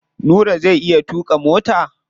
Nura zai iya tuƙa mota?